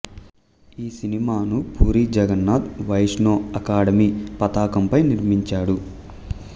ఈ సినిమాను పూరీ జగన్నాథ్ వైష్ణో అకాడమీ పతాకంపై నిర్మించాడు